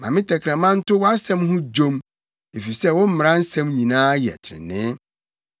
Ma me tɛkrɛma nto wʼasɛm ho dwom, efisɛ wo mmara nsɛm nyinaa yɛ trenee.